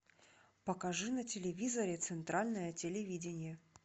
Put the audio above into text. покажи на телевизоре центральное телевидение